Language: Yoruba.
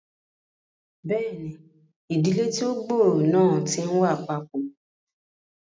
Bẹẹni, ìdílé tí o gb'ọrọ náà ti n wá papọ